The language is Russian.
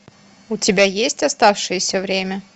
у тебя есть оставшееся время